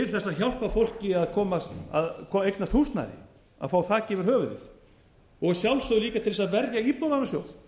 að hjálpa fólki til þess að eignast húsnæði að fá þak yfir höfuðið og að sjálfsögðu líka til þess að verja íbúðalánasjóð